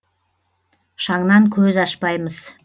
шаңнан көз ашпаймыз